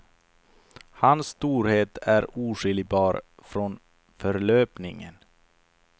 Hans storhet är oskiljbar från förlöpningen.